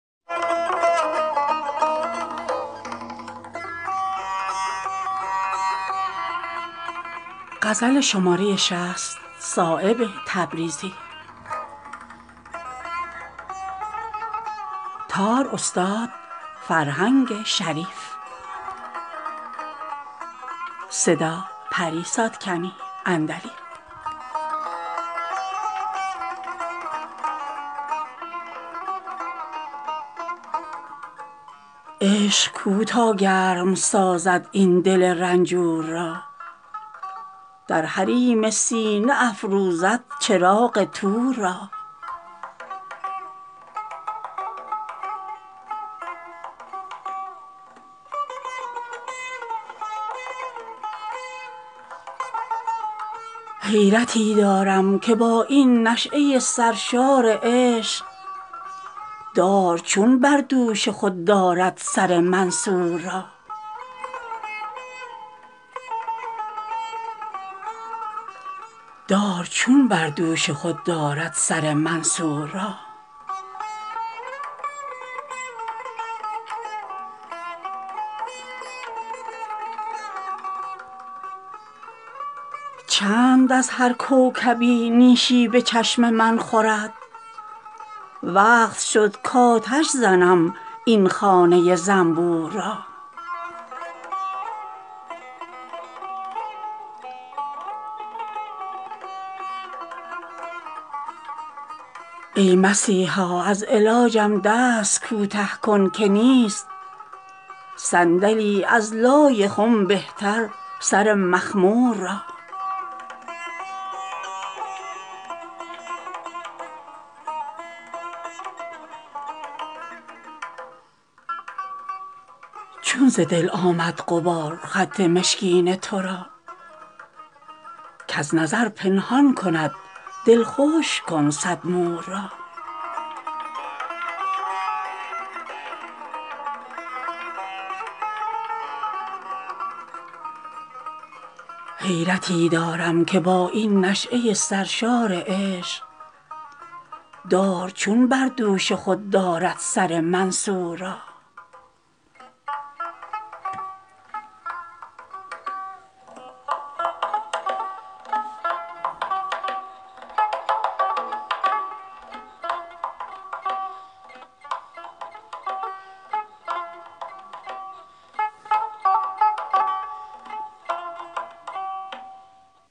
عشق کو تا گرم سازد این دل رنجور را در حریم سینه افروزد چراغ طور را حیرتی دارم که با این نشأه سرشار عشق دار چون بر دوش خود دارد سر منصور را چند از هر کوکبی نیشی به چشم من خورد وقت شد کآتش زنم این خانه زنبور را ای مسیحا از علاجم دست کوته کن که نیست صندلی از لای خم بهتر سر مخمور را چون ز دل آمد غبار خط مشکین ترا کز نظر پنهان کند دلخوش کن صد مور را